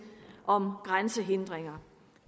om grænsehindringer